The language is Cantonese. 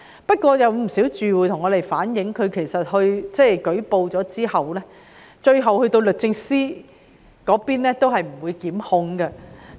不過，事實證明，有不少住戶向我們反映，舉報之後，最後律政司也不作檢控。